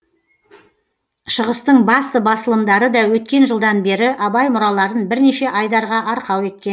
шығыстың басты басылымдары да өткен жылдан бері абай мұраларын бірнеше айдарға арқау еткен